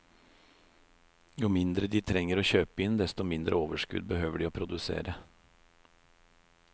Jo mindre de trenger å kjøpe inn, desto mindre overskudd behøver de å produsere.